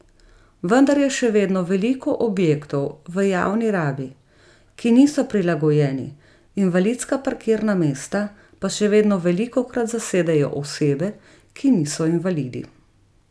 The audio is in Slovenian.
Vendar je še vedno veliko objektov v javni rabi, ki niso prilagojeni, invalidska parkirna mesta pa še vedno velikokrat zasedejo osebe, ki niso invalidi.